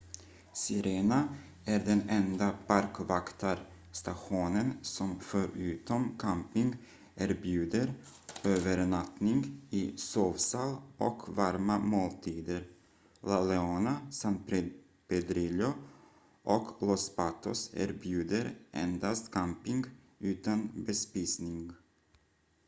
sirena är den enda parkvaktarstationen som förutom camping erbjuder övernattning i sovsal och varma måltider la leona san pedrillo och los patos erbjuder endast camping utan bespisning